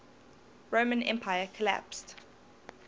roman empire collapsed